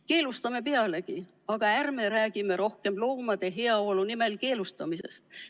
Keelustame pealegi, aga ärme räägime enam loomade heaolu nimel keelustamisest.